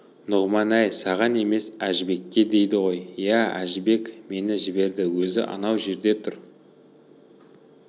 нұғыман әй саған емес әжібекке дейді ғой иә әжібек мені жіберді өзі анау жерде тұр